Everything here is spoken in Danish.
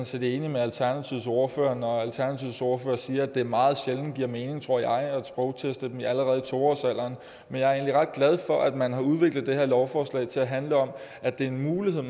set enig med alternativets ordfører når alternativets ordfører siger at det meget sjældent giver mening at sprogteste dem allerede i to årsalderen men jeg er egentlig ret glad for at man har udviklet det her lovforslag til at handle om at det er en mulighed